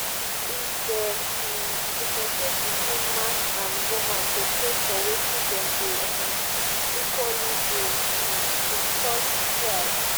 if dem um diffentiaate between man and woman to pay for wetin them de um equaly do um de cause strike